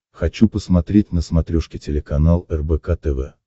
хочу посмотреть на смотрешке телеканал рбк тв